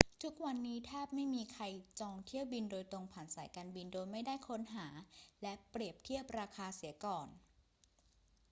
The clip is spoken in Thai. ทุกวันนี้แทบไม่มีใครจองเที่ยวบินโดยตรงผ่านสายการบินโดยไม่ได้ค้นหาและเปรียบเทียบราคาเสียก่อน